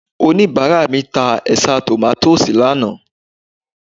Oníbàárà mi ta ẹ̀ṣá tòmátósì lánàá